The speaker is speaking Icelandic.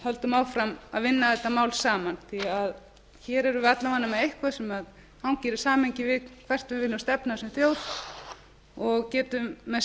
höldum áfram að vinna þessi mál saman hér erum við alla vega með eitthvað sem hangir í samhengi við hvert við viljum stefna sem þjóð og getu þá með